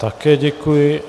Také děkuji.